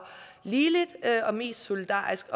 ligeligt og mest solidarisk